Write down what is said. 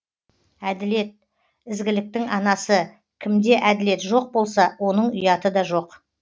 әділет ізгіліктің анасы кімде әділет жоқ болса оның ұяты да жоқ